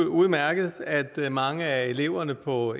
udmærket at mange af eleverne på